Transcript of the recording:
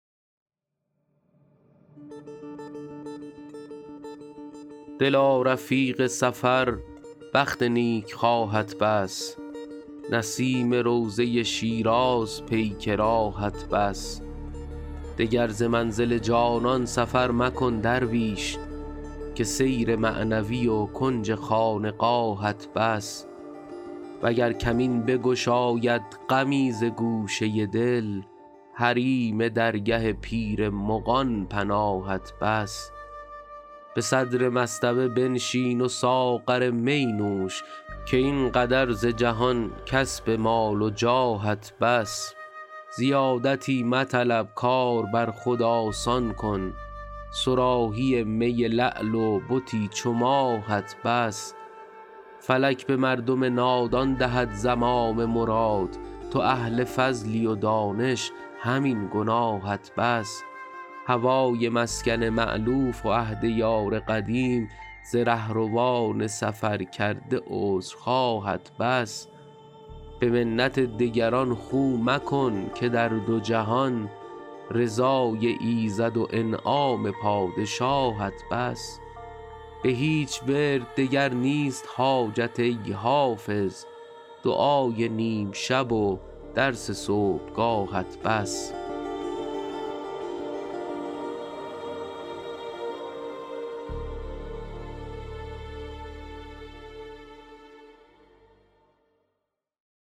دلا رفیق سفر بخت نیکخواهت بس نسیم روضه شیراز پیک راهت بس دگر ز منزل جانان سفر مکن درویش که سیر معنوی و کنج خانقاهت بس وگر کمین بگشاید غمی ز گوشه دل حریم درگه پیر مغان پناهت بس به صدر مصطبه بنشین و ساغر می نوش که این قدر ز جهان کسب مال و جاهت بس زیادتی مطلب کار بر خود آسان کن صراحی می لعل و بتی چو ماهت بس فلک به مردم نادان دهد زمام مراد تو اهل فضلی و دانش همین گناهت بس هوای مسکن مألوف و عهد یار قدیم ز رهروان سفرکرده عذرخواهت بس به منت دگران خو مکن که در دو جهان رضای ایزد و انعام پادشاهت بس به هیچ ورد دگر نیست حاجت ای حافظ دعای نیم شب و درس صبحگاهت بس